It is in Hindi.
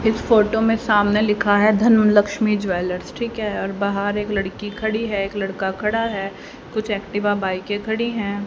इस फोटो में सामने लिखा है धनु लक्ष्मी ज्वेलर्स ठीक है और बाहर एक लड़की खड़ी है। एक लड़का खड़ा है कुछ एक्टिवा बाइके खड़ी हैं।